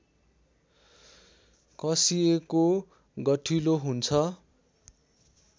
कसिएको गठिलो हुन्छ